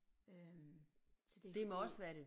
Øh så det fordi